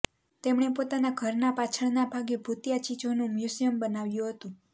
તેમણે પોતાના ઘરના પાછળના ભાગે ભૂતિયા ચીજોનું મ્યુઝિયમ બનાવ્યું હતું